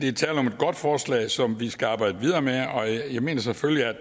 er tale om et godt forslag som vi skal arbejde videre med og jeg mener selvfølgelig